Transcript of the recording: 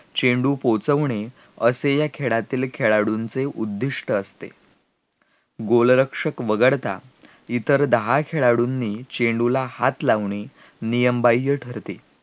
चेंडू पोचवणे असे ह्या खेळातील खेळाळूचे उद्दिष्ट असते गोलरक्षक वगळता इतर दहा खेळाळू चेंडूला हात लावणे नियम बाह्य ठरते